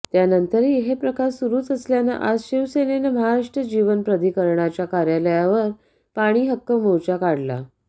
त्यानंतरही हे प्रकार सुरुच असल्यानं आज शिवसेनेनं महाराष्ट्र जीवन प्राधिकरणाच्या कार्यालयार पाणीहक्क मोर्चा काढला